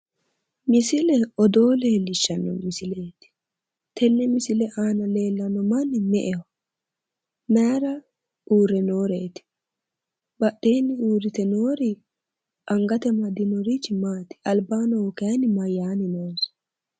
Misile odoo leellishshanno misileeti tenne misile aana leellanno manni me'eho? Mayira uure nooreeti badheenni noori angate amadinorichi Maati? Albaanni noohu kayi mayyaanni noonsa?